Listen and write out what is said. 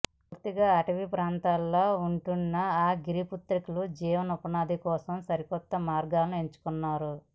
పూర్తిగా అటవీ ప్రాంతంలో ఉంటున్న ఆ గిరిపుత్రికలు జీవనోపాధి కోసం సరికొత్త మార్గాన్ని ఎంచుకున్నారు